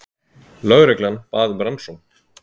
Lögreglan bað um rannsókn